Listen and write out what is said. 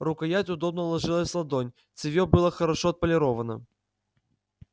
рукоять удобно ложилась в ладонь цевье было хорошо отполировано